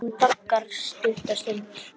Þá geta öflugir hlutir gerst.